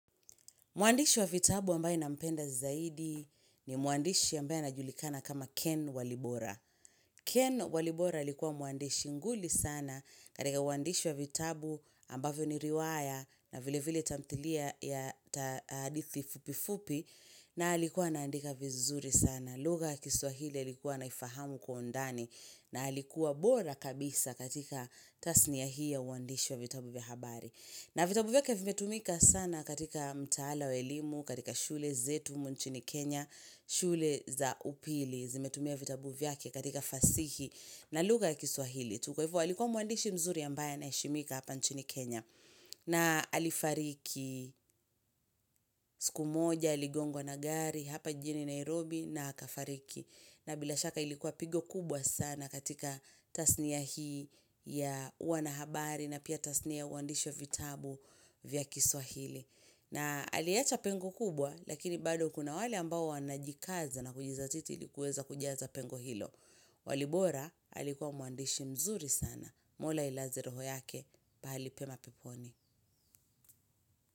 Mwandishi wa vitabu ambaye na mpenda zaidi ni muandishi ambaye anajulikana kama Ken Walibora. Ken Walibora alikuwa muandishi nguli sana katika muandishi wa vitabu ambavyo ni riwaya na vile vile tamtilia ya hadithi fupi fupi na alikuwa anaandika vizuri sana. Lugha ya kiswahili alikuwa anaifahamu kwa undani na alikuwa bora kabisa katika tasni ya hii ya uandishi wa vitabu bihabari. Na vitabu vyake vimetumika sana katika mtaala wa elimu, katika shule zetu umu nchini Kenya, shule za upili zimetumia vitabu vyake katika fasihi na lugha ya kiswahili. Kwa hivo alikuwa mwandishi mzuri ambaye anaeshimika hapa nchini Kenya. Na alifariki siku moja, aligongo na gari, hapa jini Nairobi na akafariki. Na bila shaka ilikuwa pigo kubwa sana katika tasnia hii ya wanahabari na pia tasnia uandishi vitabu vya kiswahili. Na aliecha pengo kubwa lakini bado kuna wale ambao wanajikaza na kujizatiti ilikuweza kujiaza pengo hilo. Walibora alikuwa mwandishi mzuri sana. Mola ilazi roho yake pahalipema peponi.